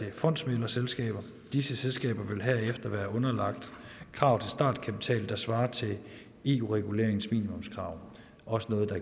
i fondsmæglerselskaber disse selskaber vil herefter være underlagt krav til startkapital der svarer til eu reguleringens minimumskrav også noget der